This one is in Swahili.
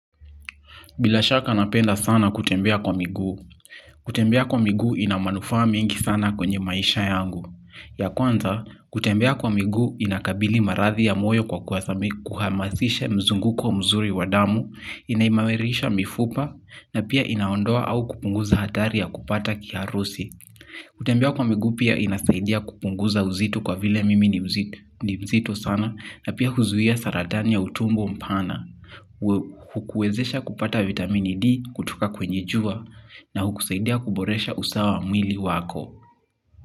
Bila shaka napenda sana kutembea kwa miguu kutembea kwa miguu ina manufaa mengi sana kwenye maisha yangu. Ya kwanza, kutembea kwa miguu inakabili marathi ya moyo kwa kuhamasisha mzunguko mzuri wa damu, inaimarisha mifupa, na pia inaondoa au kupunguza hatari ya kupata kiharusi. Kutembea kwa miguu pia inasaidia kupunguza uzito kwa vile mimi ni mzito na pia huzuia saratani ya utumbo mpana.